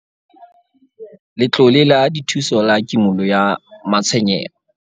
Letlole la Dithuso la Kimollo ya Matshwenyeho